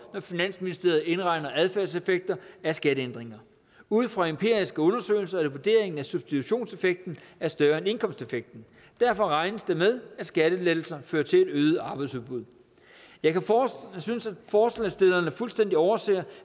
når finansministeriet indregner adfærdseffekter af skatteændringer ud fra empiriske undersøgelser er det vurderingen at substitutionseffekten er større end indkomstseffekten derfor regnes der med at skattelettelser fører til et øget arbejdsudbud jeg synes at forslagsstillerne fuldstændig overser